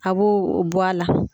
A b'o bɔ a la.